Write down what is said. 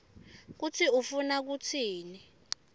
kutsi ufuna kutsini